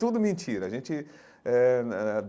Tudo mentira a gente eh eh.